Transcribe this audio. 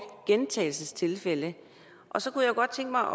gentagelsestilfælde så kunne jeg godt tænke mig